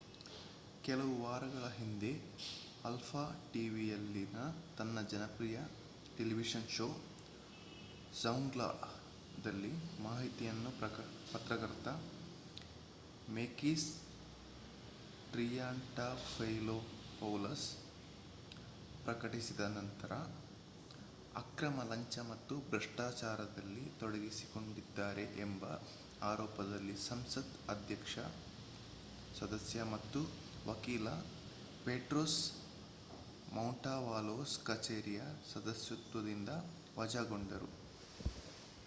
ಕೆಲವು ವಾರಗಳ ಹಿಂದೆ ಆಲ್ಫಾ ಟಿವಿಯಲ್ಲಿನ ತನ್ನ ಜನಪ್ರಿಯ ಟೆಲಿವಿಷನ್ ಶೋ ಝೌಂಗ್ಲಾ"ದಲ್ಲಿ ಮಾಹಿತಿಯನ್ನು ಪತ್ರಕರ್ತ ಮೇಕಿಸ್ ಟ್ರಿಯಾಂಟಾಫೈಲೋಪೌಲಸ್‌ ಪ್ರಕಟಿಸಿದ ನಂತರ ಅಕ್ರಮ ಲಂಚ ಮತ್ತು ಭ್ರಷ್ಟಾಚಾರದಲ್ಲಿ ತೊಡಗಿಸಿಕೊಂಡಿದ್ದಾರೆ ಎಂಬ ಆರೋಪದಲ್ಲಿ ಸಂಸತ್ ಸದಸ್ಯ ಮತ್ತು ವಕೀಲ ಪೆಟ್ರೋಸ್ ಮಾಂಟೌವಲೋಸ್ ಕಚೇರಿಯ ಸದಸ್ಯತ್ವದಿಂದ ವಜಾಗೊಂಡರು